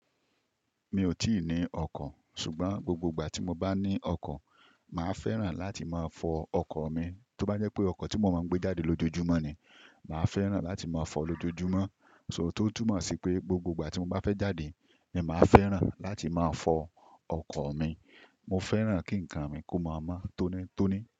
Mi ò tíì ní ọkọ́, ṣùgbọ́n gbogbo ìgbà tí mo bá ní ọkọ́, màá fẹ́ràn láti máa fọ ọkọ́ mi. Tó bá jẹ́ pé ọkọ́ tí mo máa ń gbé jáde lójoojúmọ́ ni, màá fẹ́ràn láti máa fọ lójoojúmọ́. So tó túmọ̀ sí pé gbogbo ìgbà tí mo bá fẹ́ jáde, ni màá fẹ́ràn láti máa fọ ọkọ́ mi. Mo fẹ́ràn kí nǹkan mi kó máa mọ́ tónitóni.